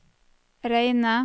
reine